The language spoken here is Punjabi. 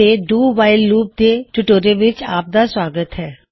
ਇਸ ਟਿਊਟੋਰਿਯਲ ਵਿੱਚ ਅਸੀਂ ਡੂ ਵਾਇਲ ਲੂਪ ਬਾਰੇ ਜਾਨਕਾਰੀ ਲਵਾਂ ਗੇ